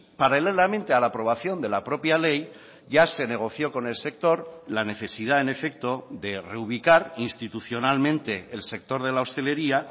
paralelamente a la aprobación de la propia ley ya se negoció con el sector la necesidad en efecto de reubicar institucionalmente el sector de la hostelería